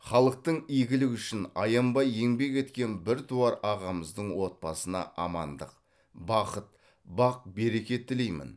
халықтың игілігі үшін аянбай еңбек еткен біртуар ағамыздың отбасына амандық бақыт бақ береке тілеймін